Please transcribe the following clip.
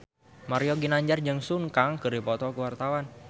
Mario Ginanjar jeung Sun Kang keur dipoto ku wartawan